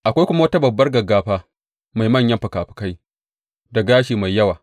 Akwai kuma wata babbar gaggafa mai manyan fikafikai da gashi mai yawa.